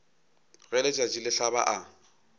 ge letšatši le hlaba a